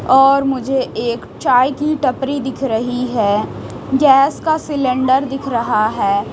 और मुझे एक चाय की टपरी दिख रही है गैस का सिलेंडर दिख रहा है।